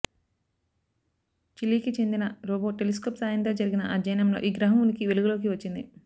చిలీకి చెందిన robo telescope సా యంతో జరిపిన అధ్యయనంలో ఈ గ్రహం ఉనికి వెలుగులోకి వచ్చింది